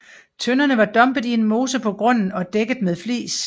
Tønderne var dumpet i en mose på grunden og dækket med flis